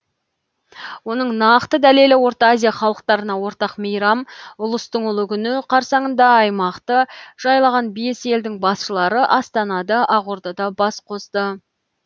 оның нақты дәлелі орта азия халықтарына ортақ мейрам ұлыстың ұлы күні қарсаңында аймақты жайлаған бес елдің басшылары астанада ақордада бас қосты